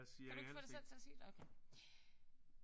Kan du ikke få sig selv til at sige det? Okay